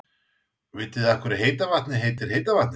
Vitið þið af hverju heita vatnið heitir heita vatnið?